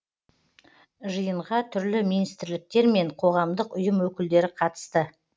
жиынға түрлі министрліктер мен қоғамдық ұйым өкілдері қатысты